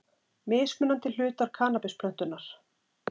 Mismunandi hlutar kannabisplöntunnar.